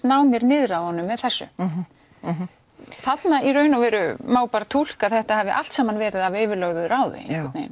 ná mér niður á honum með þessu mhm þarna í raun og veru má túlka að þetta hafi allt saman verið af yfirlögðu ráði